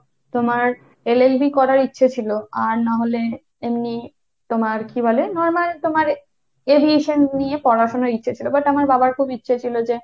তোমার LLB করার ইচ্ছে ছিল। আর না হলে এমনি তোমার কী বলে normal তোমার aviation নিয়ে পড়াশোনার ইচ্ছে ছিল। but আমার বাবার খুব ইচ্ছে ছিল যে,